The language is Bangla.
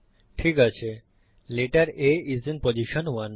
ঠিক আছে A স্থান এক এ আছে